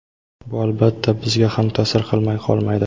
Bu albatta bizga ham ta’sir qilmay qolmaydi.